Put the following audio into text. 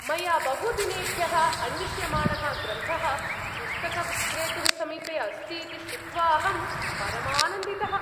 मया बहुदिनेभ्यः अन्विष्यमाणः ग्रन्थः पुस्तकविक्रेतुः समीपे अस्ति इति श्रुत्वाहं परमानन्दितः।